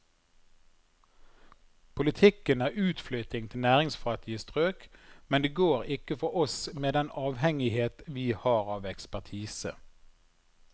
Politikken er utflytting til næringsfattige strøk, men det går ikke for oss med den avhengighet vi har av ekspertise.